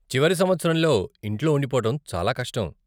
చివరి సంవత్సరంలో ఇంట్లో ఉండిపోవటం చాలా కష్టం.